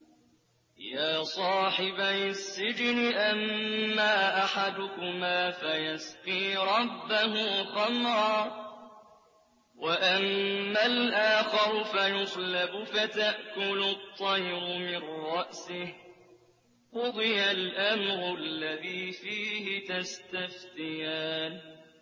يَا صَاحِبَيِ السِّجْنِ أَمَّا أَحَدُكُمَا فَيَسْقِي رَبَّهُ خَمْرًا ۖ وَأَمَّا الْآخَرُ فَيُصْلَبُ فَتَأْكُلُ الطَّيْرُ مِن رَّأْسِهِ ۚ قُضِيَ الْأَمْرُ الَّذِي فِيهِ تَسْتَفْتِيَانِ